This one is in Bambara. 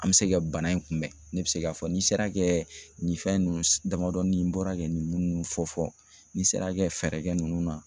An bɛ se ka bana in kunbɛn ne bɛ se k'a fɔ n'i sera kɛ nin fɛn ninnu damadɔni bɔra kɛ nin munnu fɔ fɔ n'i sera kɛ fɛɛrɛ kɛ ninnu na